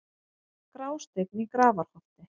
Grásteinn í Grafarholti